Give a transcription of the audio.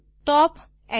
status reports